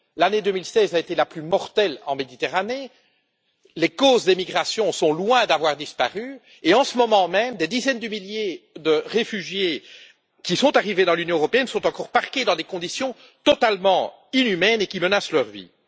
L'année 2016 a été la plus mortelle en Méditerranée, les causes des migrations sont loin d'avoir disparu et, en ce moment même, des dizaines de milliers de réfugiés arrivés dans l'Union sont encore parqués dans des conditions totalement inhumaines qui menacent leur vie.